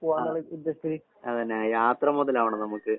ആഹ്. അതന്നെ ആ യാത്ര മൊതലാവണം നമ്മക്ക്.